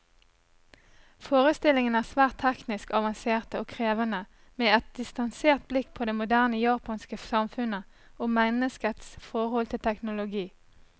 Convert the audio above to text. Forestillingene er svært teknisk avanserte og krevende, med et distansert blikk på det moderne japanske samfunnet, og menneskets forhold til teknologi.